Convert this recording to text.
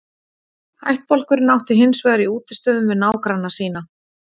Ættbálkurinn átti hins vegar í útistöðum við nágranna sína.